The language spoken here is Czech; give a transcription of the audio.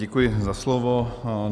Děkuji za slovo.